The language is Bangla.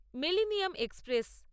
millennium express